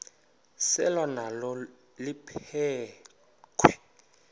selwa nalo liphekhwe